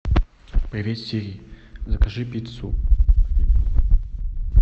привет сири закажи пиццу